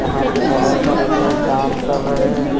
यहां पे बहुत सारे लोग काम कर रहे हैं।